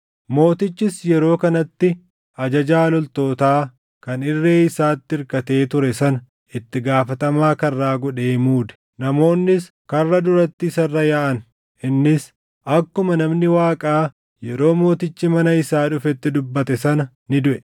Mootichis yeroo kanatti ajajaa loltootaa kan irree isaatti irkatee ture sana itti gaafatamaa karraa godhee muude; namoonnis karra duratti isa irra yaaʼan; innis akkuma namni Waaqaa yeroo mootichi mana isaa dhufetti dubbate sana ni duʼe.